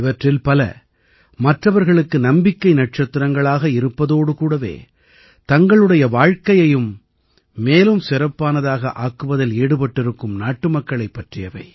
இவற்றில் பல மற்றவர்களுக்கு நம்பிக்கை நட்சத்திரங்களாக இருப்பதோடு கூடவே தங்களுடைய வாழ்க்கையையும் மேலும் சிறப்பானதாக ஆக்குவதில் ஈடுபட்டிருக்கும் நாட்டுமக்களைப் பற்றியவை